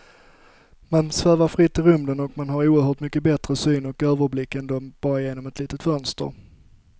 Man svävar fritt i rymden och man har oerhört mycket bättre syn och överblick då än bara genom ett litet fönster.